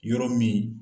Yɔrɔ min